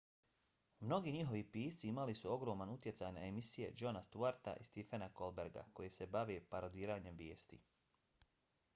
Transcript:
mnogi njihovi pisci imali su ogroman utjecaj na emisije jona stewarta i stephena colberta koje se bave parodiranjem vijesti